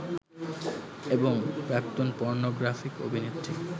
এবং প্রাক্তন পর্নোগ্রাফিক অভিনেত্রী